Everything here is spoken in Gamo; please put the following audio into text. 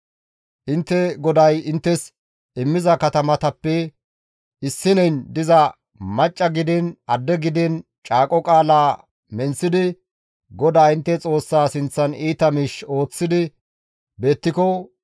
Intte GODAY inttes immiza katamatappe issineyn diza macca gidiin adde gidiin caaqo qaalaa menththidi GODAA intte Xoossaa sinththan iita miish ooththi beettiko,